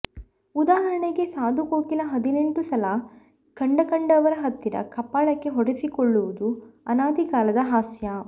ಉದಾಹರಣೆಗೆ ಸಾಧುಕೋಕಿಲ ಹದಿನೆಂಟು ಸಲ ಕಂಡಕಂಡವರ ಹತ್ತಿರ ಕಪಾಳಕ್ಕೆ ಹೊಡೆಸಿಕೊಳ್ಳುವುದು ಅನಾದಿಕಾಲದ ಹಾಸ್ಯ